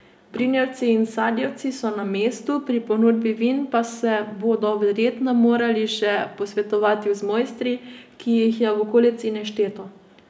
Brinjevci in sadjevci so na mestu, pri ponudbi vin pa se bodo verjetno morali še posvetovati z mojstri, ki jih je v okolici nešteto.